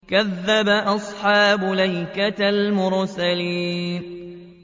كَذَّبَ أَصْحَابُ الْأَيْكَةِ الْمُرْسَلِينَ